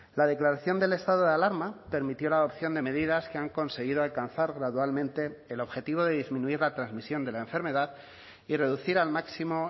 la declaración del estado de alarma permitió la adopción de medidas que han conseguido alcanzar gradualmente el objetivo de disminuir la transmisión de la enfermedad y reducir al máximo